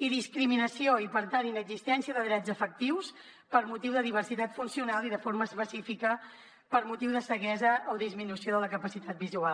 i discriminació i per tant inexistència de drets efectius per motiu de diversitat funcional i de forma específica per motiu de ceguesa o disminució de la capacitat visual